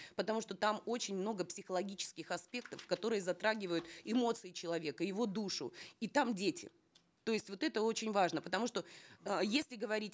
потому что там очень много психологических аспектов которые затрагивают эмоции человека его душу и там дети то есть вот это очень важно потому что э если говорить